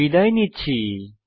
বিদায় নিচ্ছি